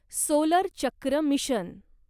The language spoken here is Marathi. सोलर चक्र मिशन